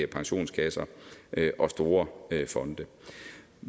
pensionskasser og store fonde